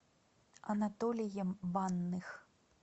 анатолием банных